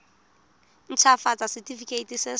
nt hafatsa setefikeiti se se